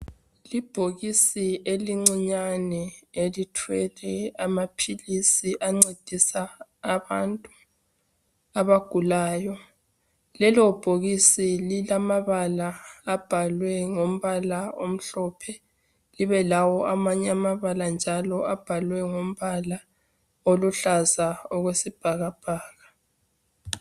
Ibhokisi elincinyane elithwele amaphilisi ancedisa abantu abagulayo. Lelo bhokisi lilamabala abhalwe ngombala omhlophe libe lawo amanye amabala njalo abhalwe ngombala oluhlaza okwesibhakabhaka.